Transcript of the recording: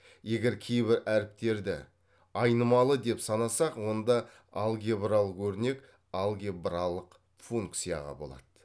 егер кейбір әріптерді айнымалы деп санасақ онда алгебралық өрнек алгебралық функцияға болады